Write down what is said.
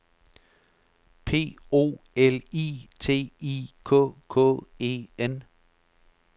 P O L I T I K K E N